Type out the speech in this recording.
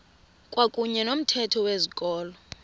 kwakuyne nomthetho wezikolo